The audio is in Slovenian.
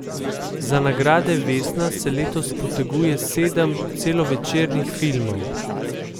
Za nagrade vesna se letos poteguje sedem celovečernih filmov.